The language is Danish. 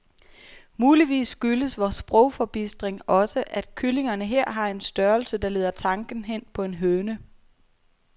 Muligvis skyldes vor sprogforbistring også, at kyllingerne her har en størrelse, der leder tanken hen på en høne.